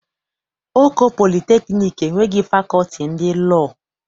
Oko Polịteknik enweghị Fakọlti ndị Lọọ.